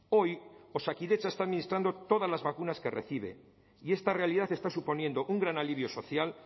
hoy osakidetza está administrando todas las vacunas que recibe y esta realidad está suponiendo un gran alivio social